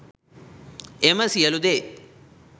එම සියලු දේ